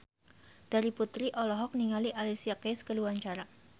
Terry Putri olohok ningali Alicia Keys keur diwawancara